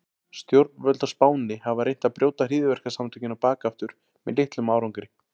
Stjórnvöld á Spáni hafa reynt að brjóta hryðjuverkasamtökin á bak aftur með litlum árangri.